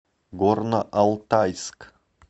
горно алтайск